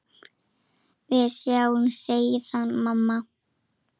Við sjáumst síðar, mamma.